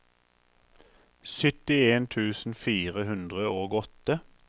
syttien tusen fire hundre og åtte